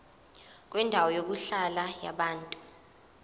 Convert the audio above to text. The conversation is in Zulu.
kwendawo yokuhlala yabantu